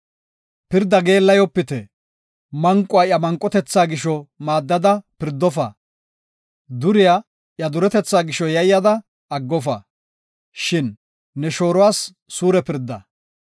“Pirda geellayopite; manquwa iya manqotetha gisho maaddada pirdofa; duriya iya duretetha gisho yayyada aggofa. Shin ne shooruwas suure pirda.